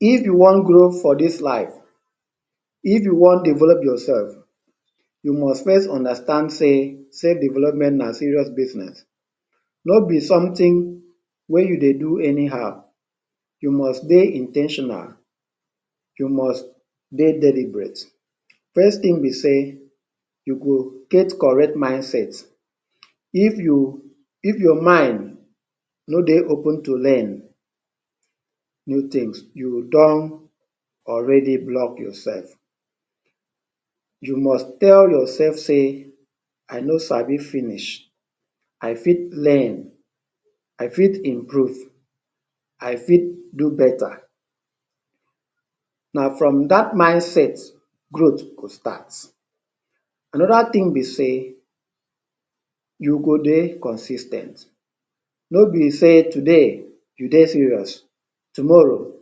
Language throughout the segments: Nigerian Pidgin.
If you wan grow for dis life, if you wan develop yourself, you must first understand sey self-development na serious business. No be something wey you dey do anyhow. You must dey in ten tional, you must dey deliberate. First thing be sey, you go get correct mindset. If you If your mind no dey open to learn new things, you don already block yourself. You must tell yourself say, I no sabi finish, I fit learn, I fit improve, I fit do better. Na from dat mindset, growth go start. Anodar thing be sey, you go dey consis ten t. No be sey today, you dey serious, tomorrow,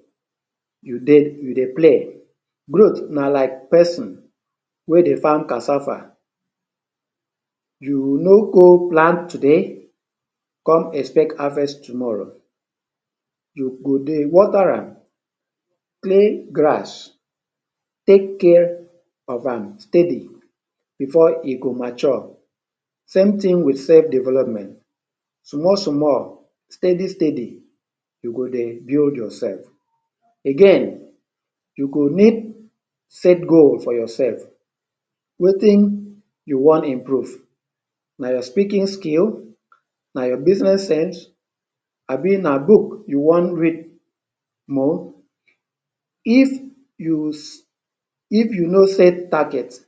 you dey you dey play. Growth na like pesin wey dey farm cassava. You no go plant today con expect harvest tomorrow. You go dey water am, clear grass, take care of am steady before e go mature. Same thing with self development. Small small, steady steady, you go dey build yourself. Again, you go need set goal for yourself. Wetin you want improve? Now your speaking skill, na your business sense, abi na book you wan read more. If you If you no set target,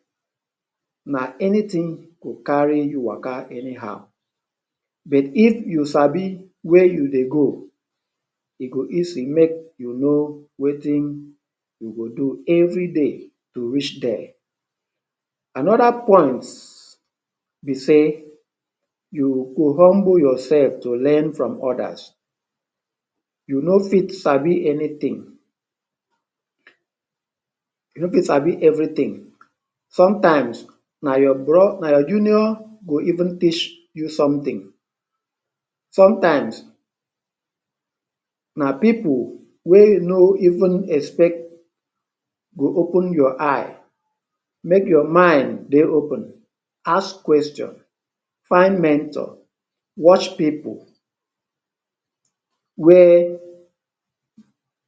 na anything go carry you waka anyhow. But if you sabi where you dey go, e go easy make you know wetin you dey do every day to reach there. Anoda point be sey, you go humble yourself to learn from others. You no fit sabi anything, you no fit sabi everything. Sometimes, na your bro, na your junior go even teach you something. Sometimes, na pipu wey you no even expect, go open your eye. Make your mind day open, ask question, find mentor, watch pipu. Where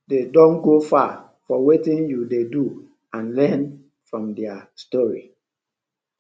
they don go far for wetin you dey do and learn from their story.